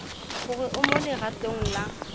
gore o mo legatong la